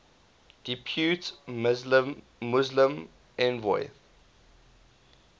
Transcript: depute muslim envoy